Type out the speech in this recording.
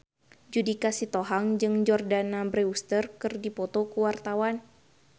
Judika Sitohang jeung Jordana Brewster keur dipoto ku wartawan